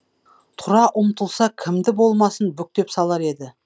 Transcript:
тұра ұмтылса кімді болмасын бүктеп салар еді